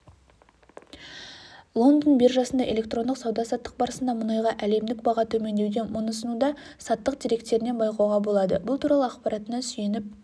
лондон биржасында электрондық сауда-саттық барысында мұнайға әлемдік баға төмендеуде мұны сауда-саттық деректерінен байқауға болады бұл туралы ақпаратына сүйеніп